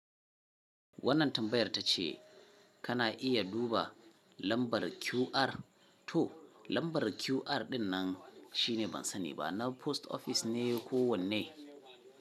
Wannan tambayar ta ce kana iya duba lambar QR. To lambar QR ɗin nan shine ban sani ba na post office ne ko wanne.